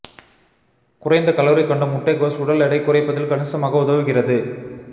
குறைந்த கலோரி கொண்ட முட்டைகோஸ் உடல் எடை குறைப்பதில் கணிசமாக உதவுகிறது